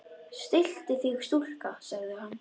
Stilltu þig stúlka, sagði hann.